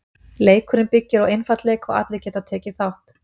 Leikurinn byggir á einfaldleika og allir geta tekið þátt.